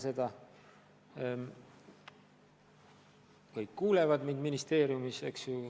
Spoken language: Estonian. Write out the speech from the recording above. Ministeeriumi ametnikud kuulevad mind praegu.